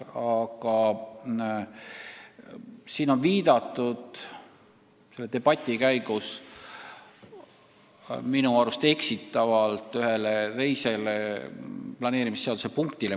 Aga siin on debati käigus viidatud minu arust eksitavalt ühele teisele planeerimisseaduse punktile.